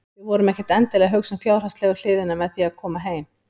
Við vorum ekkert endilega að hugsa um fjárhagslegu hliðina með því að koma heim.